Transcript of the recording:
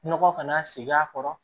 Nɔgɔ kana segin a kɔrɔ